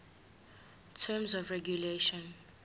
terms of regulation